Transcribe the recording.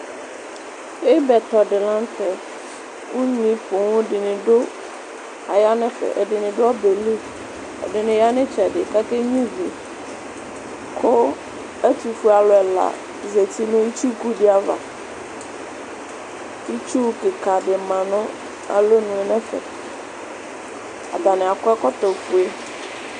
Ibɛkɔ di lanʋ tɛ, kʋ unyi poo dini aya nʋ ɛfɛ Ɛdɩnɩ du ɔbɛ yɛ li, ɛdɩnɩ du ɩtsɛdɩ kʋ ake nyʋivi Kʋ ɛtʋfuealu ɛla zǝti nʋ itsuku di ava Itsu kika di ma nʋ alɔnʋ yɛ nʋ ɛfɛ, atani akɔ ɛkɔtɔfue